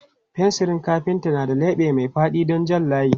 Fensirin kafintar na da leɓe mai faɗi don jan layi.